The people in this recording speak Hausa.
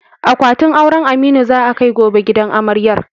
Akwatin auren Aminu za a kai gobe gidan amaryar.